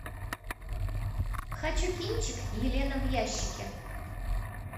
хочу кинчик елена в ящике